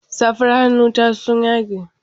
Safar hannun ta sun yage.